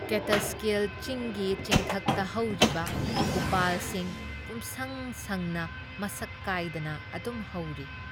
ꯀꯦꯇꯁꯀꯤꯜ ꯆꯤꯡꯒꯤ ꯆꯤꯡꯊꯛꯇ ꯍꯧꯔꯤꯕ ꯎꯄꯥꯜꯁꯤꯡ ꯄꯨꯝꯁꯪ ꯁꯪꯅ ꯃꯁꯛ ꯀꯥꯏꯗꯅ ꯑꯗꯨꯝ ꯍꯧꯔꯤ ꯫